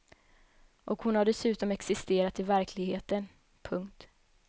Och hon har dessutom existerat i verkligheten. punkt